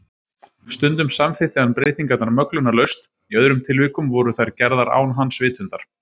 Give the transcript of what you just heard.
Stundum samþykkti hann breytingarnar möglunarlaust, í öðrum tilvikum voru þær gerðar án hans vitundar.